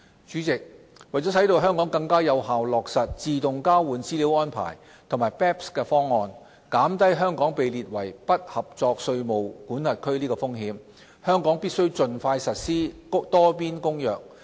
主席，為使香港更有效落實自動交換資料安排及 BEPS 方案，減低香港被列為"不合作稅務管轄區"的風險，香港必須盡快實施《多邊公約》。